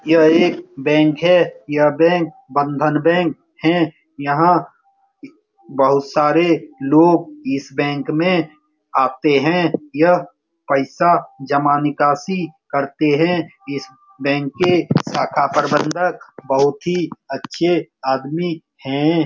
यह एक बैंक है । यह बैंक बंधन बैंक है यहाँ बहुत सारे लोग इस बैंक में आते हैं यह पैसा जमा निकासी करते है इस बैंक के शाखा प्रबंधक बहुत ही अच्छे आदमी है ।